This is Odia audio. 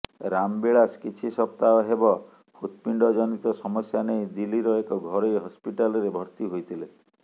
ରାମବିଲାସ କିଛି ସପ୍ତାହ ହେବ ହୃତ୍ପିଣ୍ଡଜନିତ ସମସ୍ୟା ନେଇ ଦିଲ୍ଲୀର ଏକ ଘରୋଇ ହସ୍ପିଟାଲ୍ରେ ଭର୍ତ୍ତି ହୋଇଥିଲେ